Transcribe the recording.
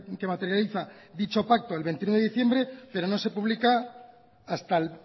que materializa dicho pacto el veintiuno de diciembre pero no se pública hasta el